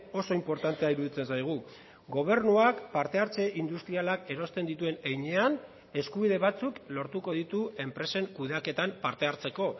oso inportantea iruditzen zaigu gobernuak partehartze industrialak erosten dituen heinean eskubide batzuk lortuko ditu enpresen kudeaketan parte hartzeko